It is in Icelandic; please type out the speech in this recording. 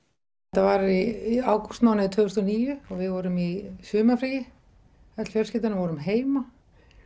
þetta var í ágústmánuði tvö þúsund og níu og við vorum í sumarfríi öll fjölskyldan og vorum heima